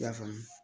I y'a faamu